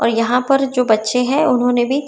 और यहां पर जो बच्चे हैं उन्होंने भी--